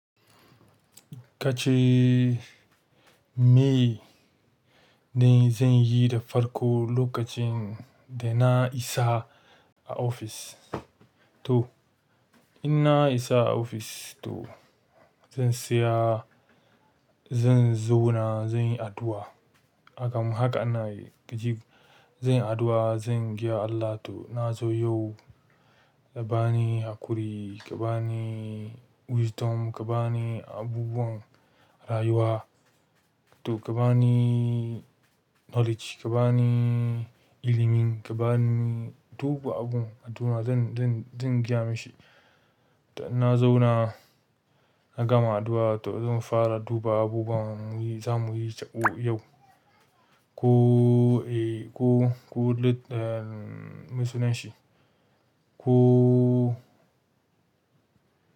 Kace me ne zan yi da farko lokacin da na isa a ofis? To in na isa a ofis to zan saya, zan zauna, zan yi addu'a. Haka ana yi. Gijim, zan yi addu'a, zan gaya Allah to na zo yau ka bani haƙuri, ka bani wisdom, ka bani abubuwan rayuwa to ka bani. Knowledge, ka bani ilimin, ka bani duk abun addu'a zan, zan, zan gaya mishi. Da in na zauna na gama addu'a to zan fara duba abubuwan za mu yi za mu yi cako yau. Ko, eh, ko, ko mesunan shi. Ko.